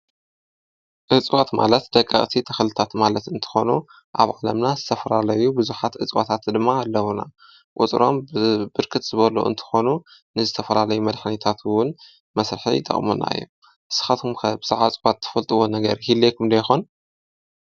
እጽዋት ማለት ደቃ ቕቲ ተኽልታት ማለት እንተኾኑ ኣብ ዓለምና ዝተፍራለዩ ብዙኃት እጽዋታት ድማ ኣለዉና ውጽሮም ብብርክት ዝበሉ እንተኾኑ ንዝተፈራለይ መድኃኒታትውን መሥርሐ ይጠቕሞናየ ስኻትኩምከብ ሠዓጽባት ትፈልጥዎ ነገር ኢለይኩምዶ ይኾን።